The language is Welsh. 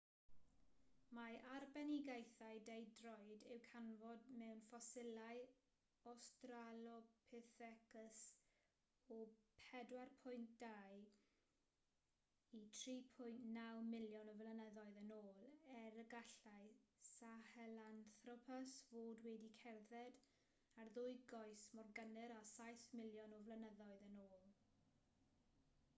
mae arbenigaethau deudroed i'w canfod mewn ffosilau australopithecus o 4.2-3.9 miliwn o flynyddoedd yn ôl er y gallai sahelanthropus fod wedi cerdded ar ddwy goes mor gynnar â saith miliwn o flynyddoedd yn ôl